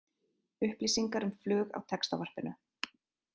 Upplýsingar um flug á Textavarpinu